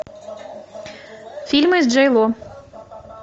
фильмы с джей ло